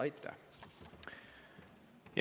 " Aitäh!